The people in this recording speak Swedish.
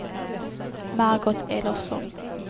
Margot Elofsson